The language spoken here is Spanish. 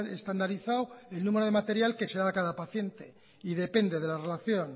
estandarizado el número de material que se da a cada paciente y depende de la relación